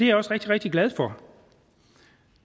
jeg også rigtig rigtig glad for